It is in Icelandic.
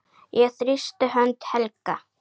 Ég þrýsti hönd Helga.